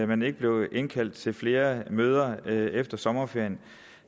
man ikke blev indkaldt til flere møder efter sommerferien